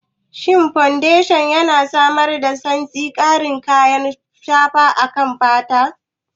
Shin fodeshan yana samar da santsi da ƙarin kayan shafa akan fata?